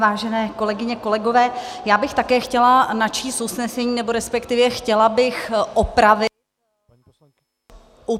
Vážené kolegyně, kolegové, já bych také chtěla načíst usnesení, nebo respektive chtěla bych upravit -